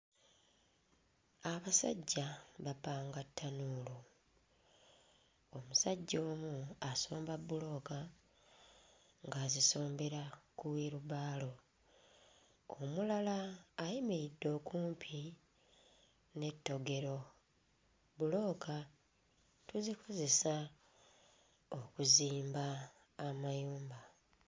Abasajja bapanga ttanuulu, omusajja omu asomba bbulooka ng'azisombera ku wheelbarrow. Omulala ayimiridde okumpi n'ettogero. Bbulooka tuzikozesa okuzimba amayumba.